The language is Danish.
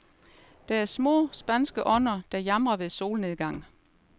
Det er små, spanske ånder, der jamrer ved solnedgang.